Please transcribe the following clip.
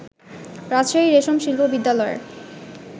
রাজশাহী রেশম শিল্প বিদ্যালয়ের